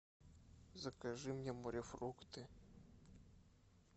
закажи мне морефрукты